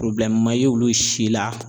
ma ye olu si la